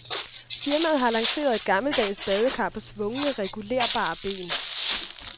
Firmaet har lanceret et gammeldags badekar på svungne regulerbare ben.